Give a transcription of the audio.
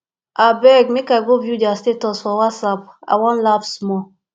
abeg make i go view their status for whatsapp i wan laugh small